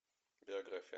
биография